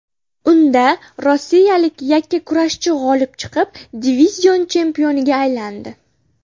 Unda rossiyalik yakkakurashchi g‘olib chiqib, divizion chempioniga aylandi .